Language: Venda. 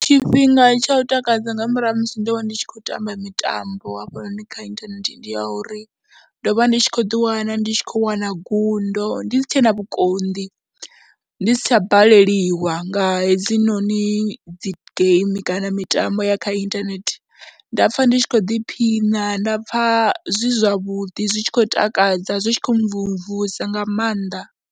Tshifhinga tsha u takadza nga murahu ha musi ndo vha ndi tshi khou tamba mitambo hafhanoni kha inthanethe ndi ya uri ndo vha ndi tshi khou ḓiwana ndi tshi khou wana gundo, ndi si tshe na vhukonḓi, ndi si tsha baleliwa nga hedzinoni dzi geimi kana mitambo ya kha inthanethe, nda pfha ndi tshi khou ḓiphina, nda pfha zwi zwavhuḓi zwi tshi khou takadza, zwi tshi khou mmvumvusa nga maanḓa.